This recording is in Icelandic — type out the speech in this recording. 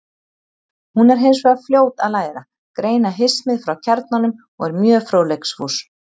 Hún er hins vegar fljót að læra, greina hismið frá kjarnanum og er mjög fróðleiksfús.